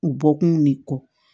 U bɔ kun ne kɔ